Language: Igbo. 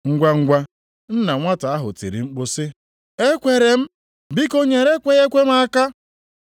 Ngwangwa, nna nwata ahụ tiri mkpu sị, “Ekweere m, biko nyere ekweghị ekwe m aka!”